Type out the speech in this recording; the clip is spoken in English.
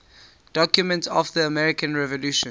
documents of the american revolution